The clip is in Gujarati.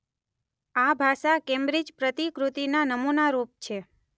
આ ભાષા કેમ્બ્રિજ પ્રતિકૃતિના નમૂનારૂપ છે.